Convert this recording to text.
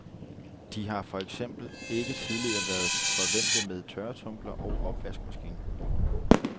De har for eksempel ikke tidligere været forvænte med tørretumbler og opvaskemaskine.